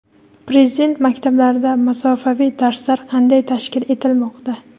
Prezident maktablarida masofaviy darslar qanday tashkil etilmoqda?.